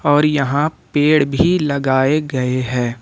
और यहां पेड़ भी लगाए गए है।